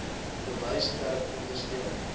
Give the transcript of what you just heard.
bewyse ter ondersteuning